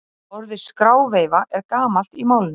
Orðið skráveifa er gamalt í málinu.